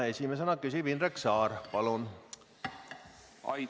Esimesena küsib Indrek Saar, palun!